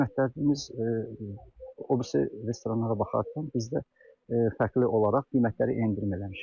Qiymətlərimiz öbürü restoranlara baxarkən bizdə fərqli olaraq qiymətlərə endirim eləmişik.